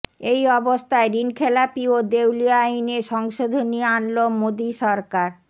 এই অবস্থায় ঋণখেলাপি ও দেউলিয়া আইনে সংশোধনী আনল মোদী সরকার